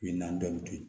Min na bɛɛ bɛ to yen